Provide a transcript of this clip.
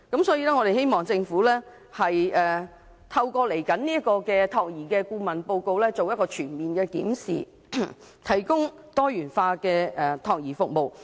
所以，我們希望政府透過未來的託兒顧問報告，進行全面檢視，提供多元化託兒服務。